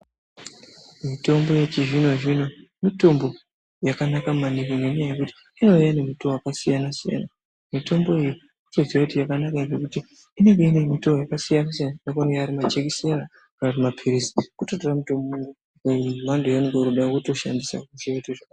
Motombo yechizvino-zvino mitombo yakanaka maningi ngenyaya yekuti inouya ngemutoo yakasiyana-siyana. Mitombo iyi totoziya kuti inenge inemitoo yakasiyana-siyana imweni inouya ari majekiseni kana kuti mapirizi wototora mutombo wemhando yaunoda wotoshandisa.